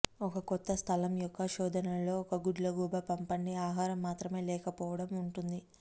ఒక కొత్త స్థలం యొక్క శోధన లో ఒక గుడ్లగూబ పంపండి ఆహారం మాత్రమే లేకపోవడం ఉంటుంది